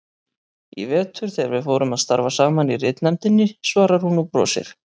Í vetur þegar við fórum að starfa saman í ritnefndinni, svarar hún og brosir.